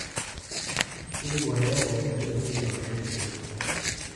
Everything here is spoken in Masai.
tupukore enaa shan e El nino aun ilkiek